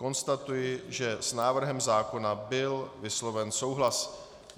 Konstatuji, že s návrhem zákona byl vysloven souhlas.